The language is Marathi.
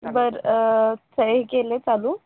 बरं अह सगळे केले चालू